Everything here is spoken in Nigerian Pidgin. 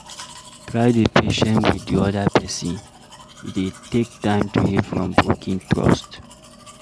Try dey patient with di oda person, e dey take time to heal from broken trust